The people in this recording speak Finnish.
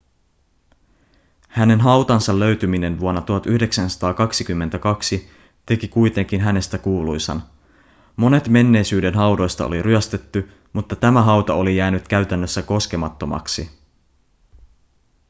hänen hautansa löytyminen vuonna 1922 teki kuitenkin hänestä kuuluisan monet menneisyyden haudoista oli ryöstetty mutta tämä hauta oli jäänyt käytännössä koskemattomaksi